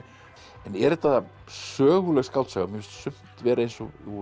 en er þetta söguleg skáldsaga mér finnst sumt vera eins og úr